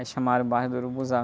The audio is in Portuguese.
Aí chamaram o bairro de Urubuzal.